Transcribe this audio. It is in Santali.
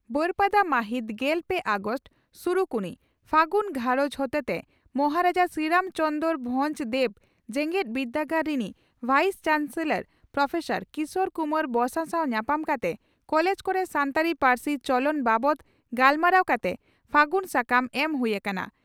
ᱵᱟᱹᱨᱯᱟᱫᱟ ᱢᱟᱹᱦᱤᱛ ᱜᱮᱞ ᱯᱮ ᱟᱜᱚᱥᱴ (ᱥᱩᱨᱩᱠᱩᱱᱤ) ᱺ ᱯᱷᱟᱹᱜᱩᱱ ᱜᱷᱟᱨᱚᱸᱡᱽ ᱦᱚᱛᱮᱛᱮ ᱢᱚᱦᱟᱨᱟᱡᱟ ᱥᱨᱤᱨᱟᱢ ᱪᱚᱱᱫᱽᱨᱚ ᱵᱷᱚᱸᱡᱽ ᱫᱮᱣ ᱡᱮᱜᱮᱛ ᱵᱤᱨᱫᱟᱹᱜᱟᱲ ᱨᱤᱱᱤᱡ ᱵᱷᱟᱭᱤᱥ ᱪᱟᱱᱥᱮᱞᱚᱨ ᱯᱨᱹ ᱠᱤᱥᱚᱨ ᱠᱩᱢᱟᱨ ᱵᱚᱥᱟ ᱥᱟᱣ ᱧᱟᱯᱟᱢ ᱠᱟᱛᱮ ᱠᱚᱞᱮᱡᱽ ᱠᱚᱨᱮ ᱥᱟᱱᱛᱟᱲᱤ ᱯᱟᱨᱥᱤ ᱪᱚᱞᱚᱱ ᱵᱟᱵᱛ ᱜᱟᱞᱢᱟᱨᱟᱣ ᱠᱟᱛᱮ 'ᱯᱷᱟᱹᱜᱩᱱ' ᱥᱟᱠᱟᱢ ᱮᱢ ᱦᱩᱭ ᱟᱠᱟᱱᱟ ᱾